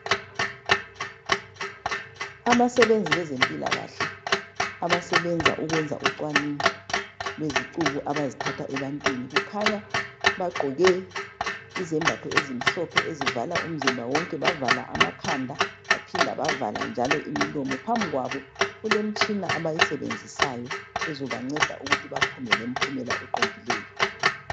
Abasebenzi bezempilakahle abasebenza ukwenza ucwaningo lezicubu abazithatha ebantwini kukhanya bagqoke Izembatho ezimhlophe ezivala umzimba wonke bavala amakhanda baphinda bavala njalo imilomo. Phambi kwabo kulemitshina abayisebenzisayo ezobanceda ukuthi baphume lemphumela eqondileyo.